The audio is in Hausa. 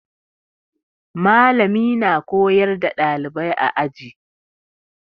Mallami na koyar da ɗalibai a aji.